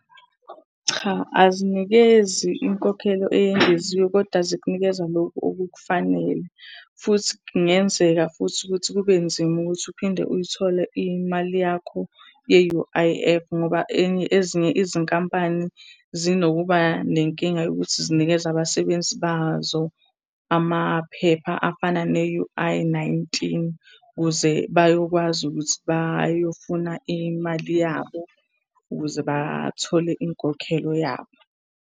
Cha, azinikezi inkokhelo eyengeziwe, koda zikunikeza loku okukufanele. Futhi kungenzeka futhi ukuthi kube nzima ukuthi uphinde uyithole imali yakho ye-U_I_F ngoba ezinye izinkampani zinokuba nenkinga yokuthi zinikeze abasebenzi bazo amaphepha afana ne-U_I nineteen, ukuze bayokwazi ukuthi bayofuna imali yabo ukuze bathole inkokhelo yabo.